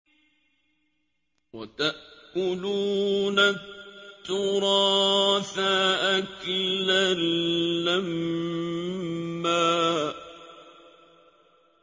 وَتَأْكُلُونَ التُّرَاثَ أَكْلًا لَّمًّا